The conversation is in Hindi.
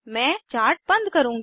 मैं चार्ट बंद करुँगी